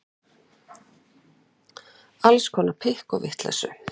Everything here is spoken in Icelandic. Alls konar pikk og vitleysu.